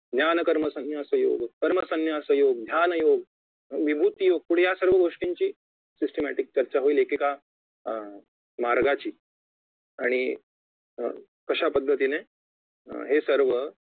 ध्यान कर्म संन्यास योग कर्म संन्यास योग ध्यान योग विभूती योग पुढे यासर्व गोष्टींची systematic चर्चा होईल एक एका अं मार्गाची आणि अं अशापद्धतीने हे सर्व